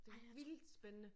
Det vildt spændende